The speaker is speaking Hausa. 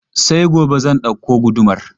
Sai gobe zan ɗauko gudumar.